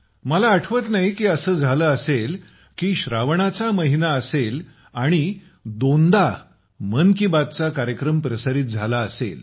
मला आठवत नाही की असं झालं असेल की श्रावणाचा महिना असेल आणि दोन दा मन की बातचा कार्यक्रम प्रसारित झाला असेल